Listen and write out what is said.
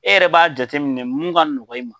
E yɛrɛ b'a jateminɛ mun ka nɔgɔ i ma.